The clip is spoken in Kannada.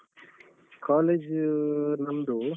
College ಊ ನಮ್ದೂ.